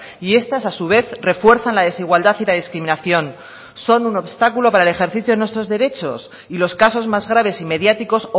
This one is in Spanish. y estas a su vez refuerzan la desigualdad y la discriminación son un obstáculo para el ejercicio de nuestros derechos y los casos más graves y mediáticos